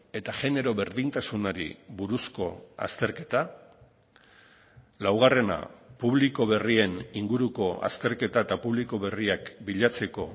eta genero berdintasunari buruzko azterketa laugarrena publiko berrien inguruko azterketa eta publiko berriak bilatzeko